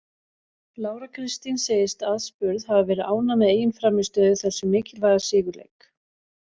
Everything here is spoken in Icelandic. Lára Kristín segist aðspurð hafa verið ánægð með eigin frammistöðu í þessum mikilvæga sigurleik.